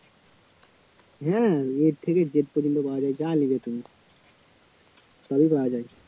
হ্যাঁ a থেকে z পর্যন্ত পাওয়া যায় যা নেবে তুমি সবই পাওয়া যায়